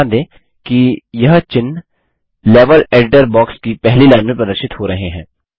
ध्यान दें कि यह चिह्न लेवल एडिटर बॉक्स की पहली लाइन में प्रदर्शित हो रहे हैं